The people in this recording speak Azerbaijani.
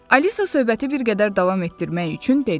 Alisa söhbəti bir qədər davam etdirmək üçün dedi.